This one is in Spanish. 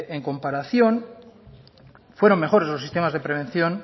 en comparación fueron mejores los sistemas de prevención